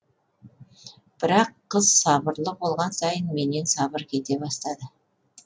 бірақ қыз сабырлы болған сайын менен сабыр кете бастады